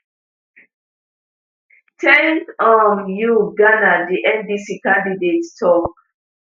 thank um you ghana di ndc candidate tok